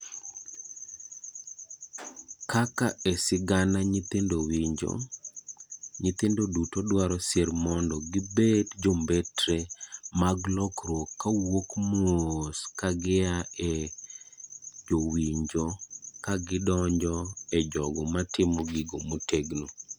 Kaka esigana nyithindo winjo ,nyithindo duto dwaro sir mon do gibed jombetre mag mag lokruok kawuok moos kagia e jowinjo kagidonjo e jojogo matimo gino motegno.